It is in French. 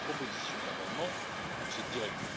proposition d'amendement de cette directive.